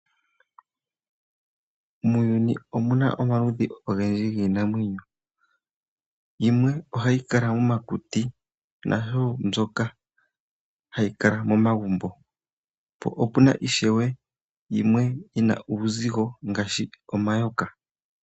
Muuyuni omuna omaludhi ogendji giinamwenyo. Yimwe oha yi kala momakuti nayimwe omomagumbo. Po puna ishewe yimwe yi na uuzigo ngaashi omayoka.